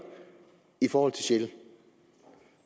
for shell